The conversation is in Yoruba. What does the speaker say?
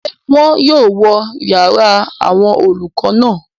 Ṣé wọ́n yóò wó yàrá àwọn olùkọ́ náà?